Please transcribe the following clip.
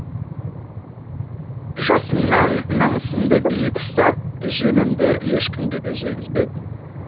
жасымнан намысымды биік ұстап жемімді ешкімге де жегізбедім